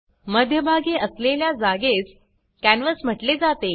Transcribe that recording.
मध्यभागी असलेल्या जागेस कॅनव्हास म्हटले जाते